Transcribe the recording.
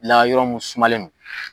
La yɔrɔ mun sumalen don